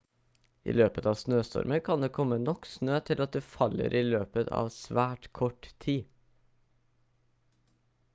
i løpet av snøstormer kan det komme nok snø til at du faller i løpet av svært kort tid